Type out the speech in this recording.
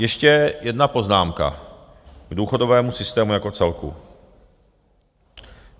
Ještě jedna poznámka k důchodovému systému jako celku.